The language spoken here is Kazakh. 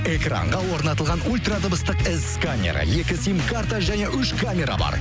экранға орнатылған ульрадыбыстық эс сканері екі сим карта және үш камера бар